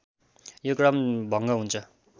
यो क्रम भङ्ग हुन्छ